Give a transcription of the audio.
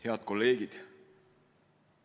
Head kolleegid!